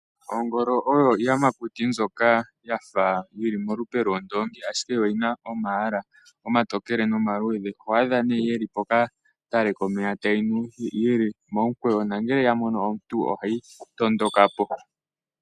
Oongolo oyo iiyamakuti mbyoka yafa yi li molupe lwondongi, ashike yo oyi na omalwala omatokele nomaludhe, otodhi adha ne dhi li pokatale komeya tadhi nu dhi li momukweyo nongele odha mono omuntu ohadhi tondoka po.